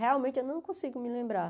Realmente, eu não consigo me lembrar.